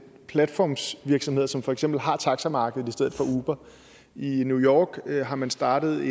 platformsvirksomheder som for eksempel har taxamarkedet i stedet for uber i new york har man startet